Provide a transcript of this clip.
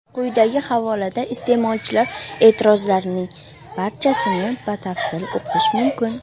Quyidagi havolada iste’molchilar e’tirozlarning barchasini batafsil o‘qish mumkin.